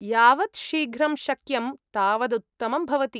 यावत् शीघ्रं शक्यं तावदुत्तमं भवति।